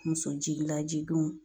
Muso jiginla jiginw